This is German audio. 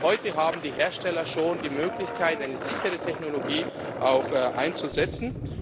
der Hand. Selbst heute haben die Hersteller schon die Möglichkeit, eine sichere Technologie einzusetzen.